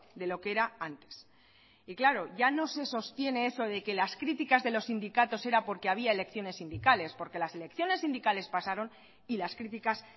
de lo que era antes y claro ya no se sostiene eso de que las críticas de los sindicatos era porque había elecciones sindicales porque las elecciones sindicales pasaron y las críticas